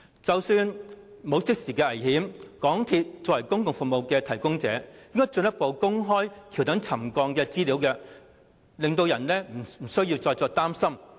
即使沒有即時的危險，港鐵公司作為公共服務提供者，應該進一步公開橋躉沉降的資料，令人不需要再擔心。